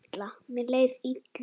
Mér leið illa.